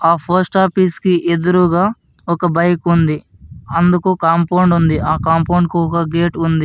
ఆహ్ post office కి ఎదురుగా ఒక బైక్ ఉంది అందుకు కాంపౌండ్ ఉంది ఆ కాంపౌండ్ కు ఒక గేట్ ఉంది.